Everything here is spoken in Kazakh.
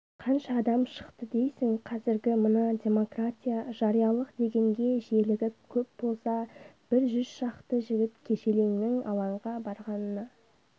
қанша адам шықты дейсің қазіргі мына демократия жариялық дегенге желігіп көп болса бір жүз шақты жігіт-желеңнің алаңға барғанына